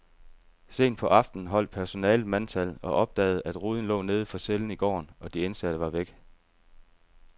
Sent på aftenen holdt personalet mandtal og opdagede, at ruden lå neden for cellen i gården, og de indsatte var væk.